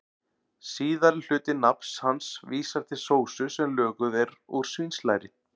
Síðari hluti nafns hans vísar til sósu sem löguð er úr svínslæri.